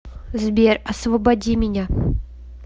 сбер освободи меня